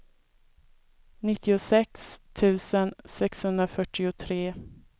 nittiosex tusen sexhundrafyrtiotre